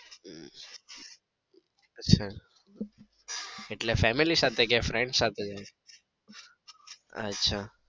અચ્છા એટલે family સાથે કે friends સાથે જાય છે અચ્છા